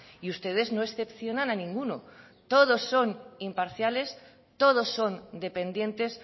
y ustedes no excepcionan a ninguno todos son imparciales todos son dependientes